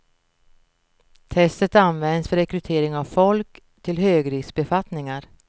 Testet används vid rekrytering av folk till högriskbefattningar.